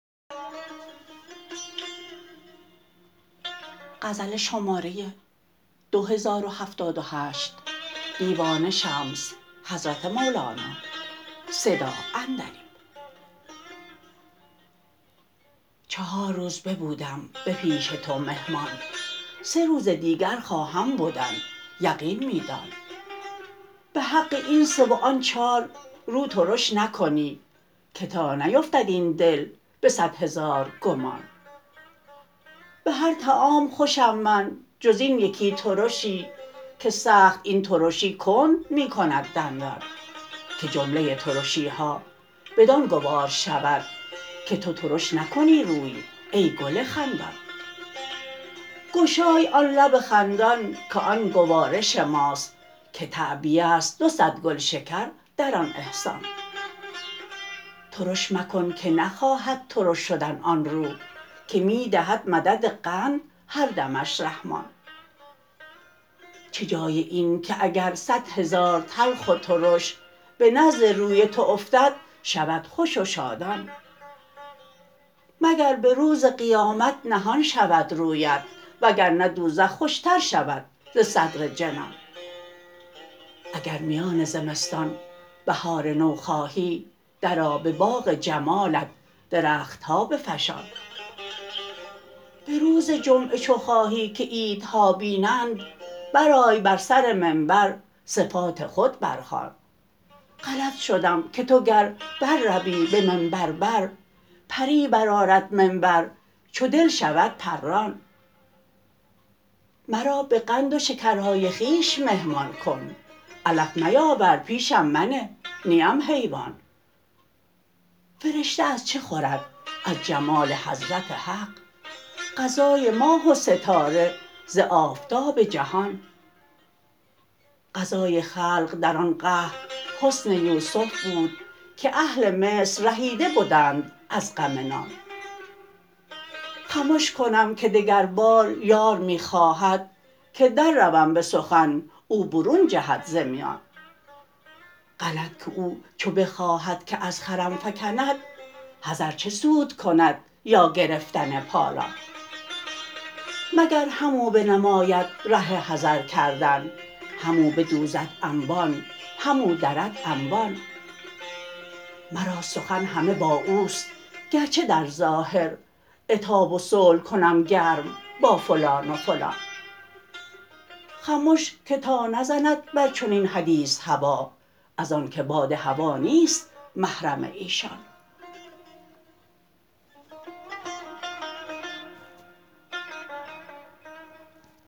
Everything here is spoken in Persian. چهار روز ببودم به پیش تو مهمان سه روز دیگر خواهم بدن یقین می دان به حق این سه و آن چار رو ترش نکنی که تا نیفتد این دل به صد هزار گمان به هر طعام خوشم من جز این یکی ترشی که سخت این ترشی کند می کند دندان که جمله ترشی ها بدان گوار شود که تو ترش نکنی روی ای گل خندان گشای آن لب خندان که آن گوارش ماست که تعبیه ست دو صد گلشکر در آن احسان ترش مکن که نخواهد ترش شدن آن رو که می دهد مدد قند هر دمش رحمان چه جای این که اگر صد هزار تلخ و ترش به نزد روی تو افتد شود خوش و شادان مگر به روز قیامت نهان شود رویت وگر نه دوزخ خوشتر شود ز صدر جنان اگر میان زمستان بهار نو خواهی درآ به باغ جمالت درخت ها بفشان به روز جمعه چو خواهی که عیدها بینند برآی بر سر منبر صفات خود برخوان غلط شدم که تو گر برروی به منبر بر پری برآرد منبر چو دل شود پران مرا به قند و شکرهای خویش مهمان کن علف میاور پیشم منه نیم حیوان فرشته از چه خورد از جمال حضرت حق غذای ماه و ستاره ز آفتاب جهان غذای خلق در آن قحط حسن یوسف بود که اهل مصر رهیده بدند از غم نان خمش کنم که دگربار یار می خواهد که درروم به سخن او برون جهد ز میان غلط که او چو بخواهد که از خرم فکند حذر چه سود کند یا گرفتن پالان مگر همو بنماید ره حذر کردن همو بدوزد انبان همو درد انبان مرا سخن همه با او است گرچه در ظاهر عتاب و صلح کنم گرم با فلان و فلان خمش که تا نزند بر چنین حدیث هوا از آنک باد هوا نیست محرم ایشان